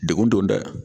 Degun don da ye